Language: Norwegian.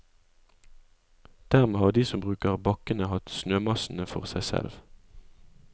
Dermed har de som bruker bakkene hatt snømassene for seg selv.